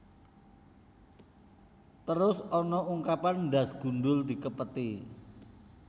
Terus ana ungkapan ndhas gundul dikepeti